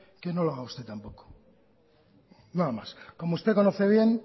que no lo haga usted tampoco nada más como usted conoce bien